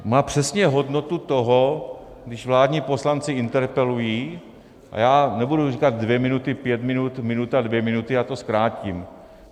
Má přesně hodnotu toho, když vládní poslanci interpelují, a já nebudu říkat dvě minuty, pět minut, minuta, dvě minuty, já to zkrátím.